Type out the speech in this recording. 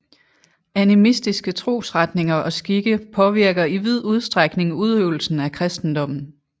Animistiske trosretninger og skikke påvirker i vid udstrækning udøvelsen af kristendommen